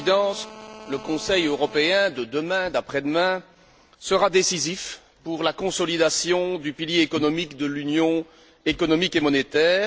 À l'évidence, le Conseil européen de demain, d'après demain, sera décisif pour la consolidation du pilier économique de l'union économique et monétaire.